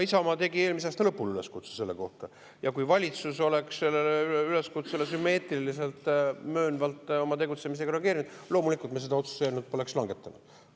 Isamaa tegi eelmise aasta lõpul üleskutse selle kohta ja kui valitsus oleks sellele üleskutsele sümmeetriliselt, möönvalt oma tegutsemisega reageerinud, siis loomulikult me seda otsuse eelnõu poleks.